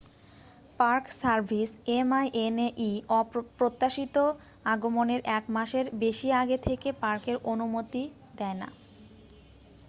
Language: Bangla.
পার্ক সার্ভিস minae প্রত্যাশিত আগমনের এক মাসের বেশি আগে থেকে পার্কের অনুমতি দেয় না।